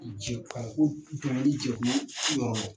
jɛkulu yɔrɔ la.